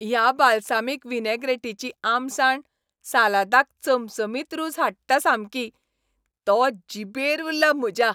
ह्या बालसामीक विनॅग्रॅटीची आमसाण सालादाक चमचमीत रूच हाडटा सामकी. तो जिबेर उरला म्हज्या !